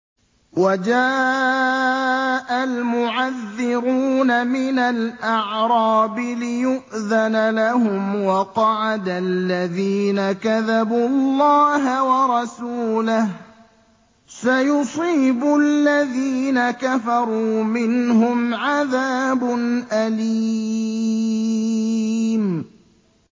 وَجَاءَ الْمُعَذِّرُونَ مِنَ الْأَعْرَابِ لِيُؤْذَنَ لَهُمْ وَقَعَدَ الَّذِينَ كَذَبُوا اللَّهَ وَرَسُولَهُ ۚ سَيُصِيبُ الَّذِينَ كَفَرُوا مِنْهُمْ عَذَابٌ أَلِيمٌ